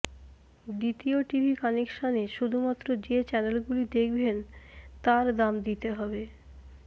দ্বিতীয় টিভি কানেকশানে শুধুমাত্র যে চ্যানেলগুলি দেখবেন তার দাম দিতে হবে